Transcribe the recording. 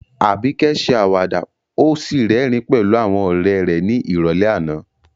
Abike ṣe àwàdà ó sì rẹ́rìn-ín pẹ̀lú àwọn ọ̀rẹ́ rẹ̀ ní ìrọ̀lẹ́ àná.